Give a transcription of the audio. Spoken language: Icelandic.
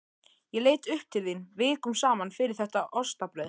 Ég leit upp til þín vikum saman fyrir þetta ostabrauð.